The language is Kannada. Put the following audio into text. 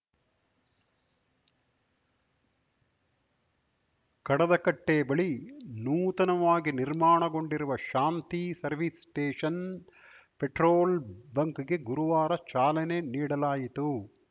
ಕಡದಕಟ್ಟೆಬಳಿ ನೂತನವಾಗಿ ನಿರ್ಮಾಣಗೊಂಡಿರುವ ಶಾಂತಿ ಸರ್ವಿಸ್‌ ಸ್ಟೇಷನ್‌ ಪೆಟ್ರೋಲ್‌ ಬಂಕ್‌ಗೆ ಗುರುವಾರ ಚಾಲನೆ ನೀಡಲಾಯಿತು